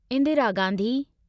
Indira Gandhi